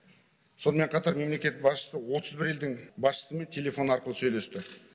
сонымен қатар мемлекет басшысы отыз бір елдің басшысымен телефон арқылы сөйлесті